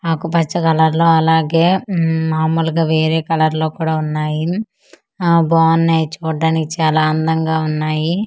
నాకు పచ్చ కలర్ లో అలాగే ఉమ్ మామూలుగా వేరే కలర్ లో కూడా వున్నాయి ఆ బావున్నాయి చూడ్డానికి చాలా అందంగా వున్నాయి.